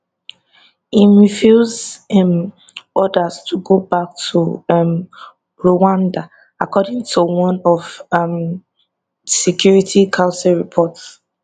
im refuse um orders to go back to um rwanda according to one un security council report